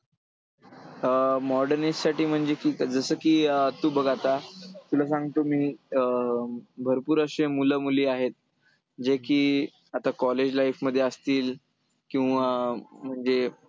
अं modern age साठी म्हणजे की जसं की अं तू बघ आता, तुला सांगतो मी अं भरपूर अशे मुलं-मुली आहेत, जे की आता college life मध्ये असतील किंवा म्हणजे